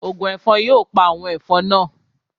Ògùn ẹ̀fọn yóò pa àwọn ẹ̀fọn naa